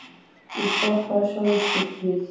Ég stoppaði sjálfur stutt við.